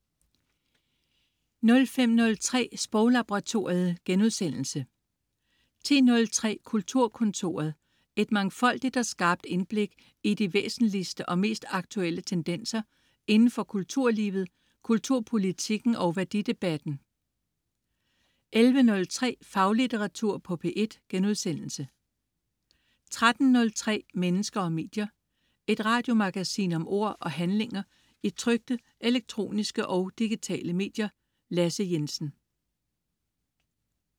05.03 Sproglaboratoriet* 10.03 Kulturkontoret. Et mangfoldigt og skarpt indblik i de væsentligste og mest aktuelle tendenser indenfor kulturlivet, kulturpolitikken og værdidebatten 11.03 Faglitteratur på P1* 13.03 Mennesker og medier. Et radiomagasin om ord og handlinger i trykte, elektroniske og digitale medier. Lasse Jensen